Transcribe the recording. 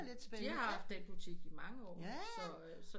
De har haft den butik i mange år